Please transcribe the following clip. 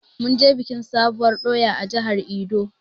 Munje biƙin sabuwur ɗoya a jihar edo